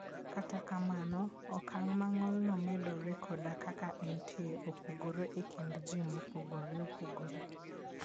Kata kamano, okang' ma ng'olno medoree koda kaka entie, opogore e kind ji mopogore opogore.